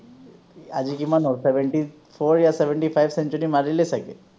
আজি কিমান হ’ল seventy fourयाseventy five century মাৰিলে চাগে৷